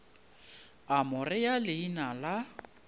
a mo rea leina la